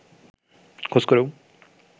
খোঁজ করেও